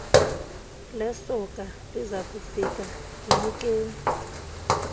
lesoka lizakufika ndinikeni